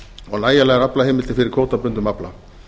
og nægilegar aflaheimildir fyrir kvótabundnum afla